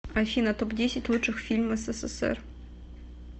афина топ десять лучших фильм ссср